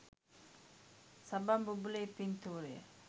සබන් බුබුලේ පින්තූරය.